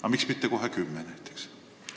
Ja miks mitte kohe kümme näiteks?